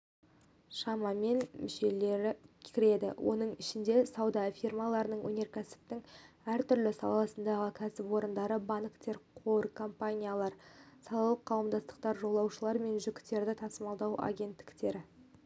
шамамен мүшелер кіреді оның ішінде сауда фирмалары өнеркәсіптің әртүрлі саласының кәсіпорындары банктер қор компаниялары салалық қауымдастықтар жолаушылар мен жүктерді тасымалдау агенттіктері